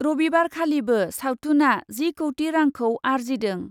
रबिबारखालिबो सावथुनआ जि कौटि रांखौ आरजिदों ।